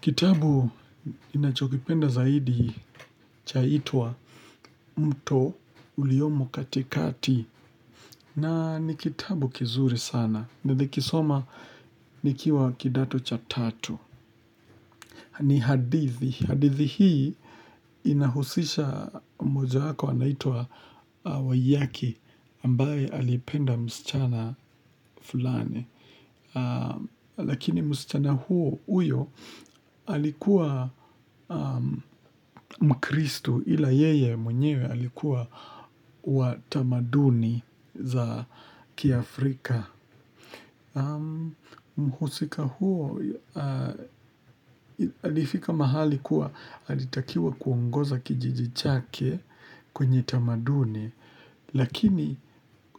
Kitabu ninachokipenda zaidi chaitwa Mto Uliyomu Katikati na ni kitabu kizuri sana. Ninikisoma nikiwa kidato cha tatu. Ni hadithi. Hadithi hii inahusisha moja hako anaitwa wayaki ambaye alipenda msichana fulani. Lakini msichana huyo alikuwa mkristu ila yeye mwenyewe alikuwa wa tamaduni za kia Afrika mhusika huyo alifika mahali kuwa alitakiwa kuongoza kijiji chake kwenye tamaduni. Lakini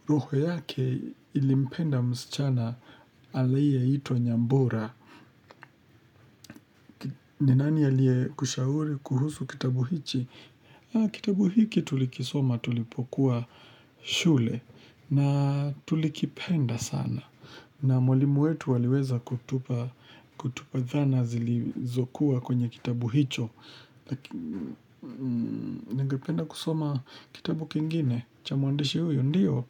roho yake ilipenda msichana aliyeitwa nyambura. Ninani alie kushauri kuhusu kitabu hichi. Kitabu hiki tulikisoma tulipokuwa shule na tulikipenda sana. Na mwlimu wetu aliweza kutupa dhana zilizokuwa kwenye kitabu hicho. Lakini nigependa kusoma kitabu kingine cha mwandishi huyo ndio,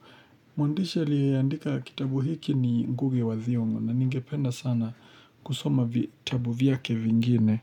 mwandishi aliyeadika kitabu hiki ni nguge wa thiongo na ningependa sana kusoma kitabu vyake vingine.